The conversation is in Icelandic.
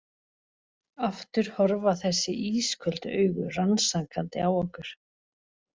Aftur horfa þessi ísköldu augu rannsakandi á okkur.